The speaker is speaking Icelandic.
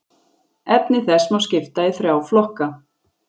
Efni þess má skipta í þrjá flokka.